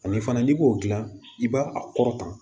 Ani fana n'i b'o dilan i b'a a kɔrɔta